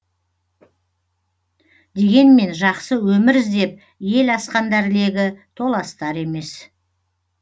дегенмен жақсы өмір іздеп ел асқандар легі толастар емес